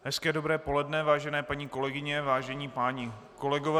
Hezké dobré poledne, vážené paní kolegyně, vážení páni kolegové.